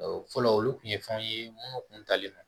Fɔlɔ olu kun ye fɛnw ye minnu kun talen don